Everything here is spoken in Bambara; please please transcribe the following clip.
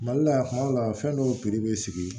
Mali la yan kuma dɔw la fɛn dɔw bɛ sigi